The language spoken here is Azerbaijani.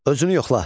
Özünü yoxla.